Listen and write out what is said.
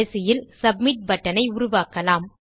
கடைசியில் submit button ஐ உருவாக்கலாம்